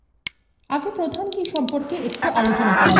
আগে প্রধান key সম্পর্কে একটু আলোচনা করা যাক